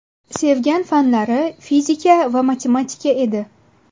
Sevgan fanlari fizika, matematika edi.